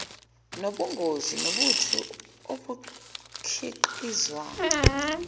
nobungozi bobuthi obukhiqizwa